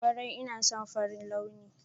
Kwarai ina son farin launi.